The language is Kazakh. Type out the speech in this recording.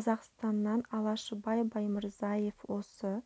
қазақстаннан алашыбай баймырзаев осы